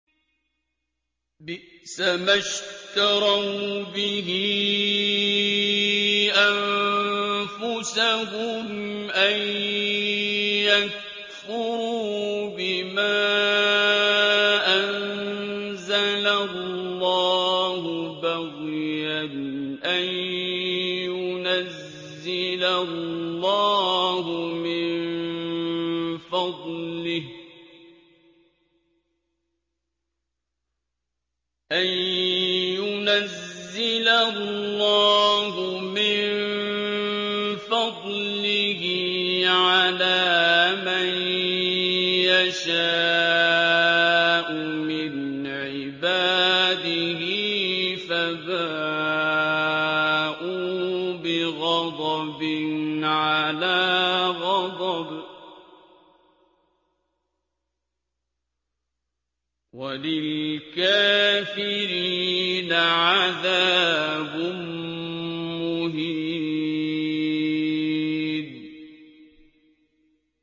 بِئْسَمَا اشْتَرَوْا بِهِ أَنفُسَهُمْ أَن يَكْفُرُوا بِمَا أَنزَلَ اللَّهُ بَغْيًا أَن يُنَزِّلَ اللَّهُ مِن فَضْلِهِ عَلَىٰ مَن يَشَاءُ مِنْ عِبَادِهِ ۖ فَبَاءُوا بِغَضَبٍ عَلَىٰ غَضَبٍ ۚ وَلِلْكَافِرِينَ عَذَابٌ مُّهِينٌ